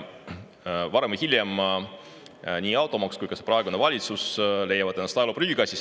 Varem või hiljem leiavad nii automaks kui ka praegune valitsus ennast ajaloo prügikastist.